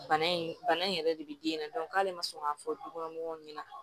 Bana in bana in yɛrɛ de be den na k'ale ma sɔn ka fɔ du kɔnɔ mɔgɔw ɲɛna